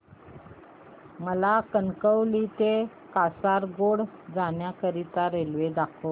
मला कणकवली ते कासारगोड जाण्या करीता रेल्वे दाखवा